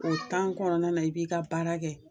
O kɔnɔna na, i b'i ka baara kɛ